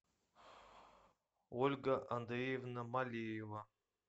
ольга андреевна малеева